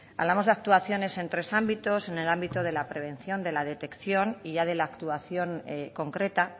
hablamos de actuaciones en tres ámbitos en el ámbito de la prevención de la detección y ya de la actuación concreta